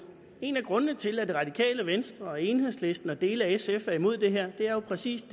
en af grundene til at det radikale venstre og enhedslisten og dele af sf er imod det her er jo præcis